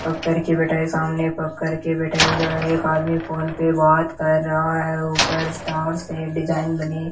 पककर के बिठा है सामने भक्कर की बिठाई एक आदमी फोन पे बात कर रहा है ऊपर स्टार्स हैं डिज़ाइन बनी --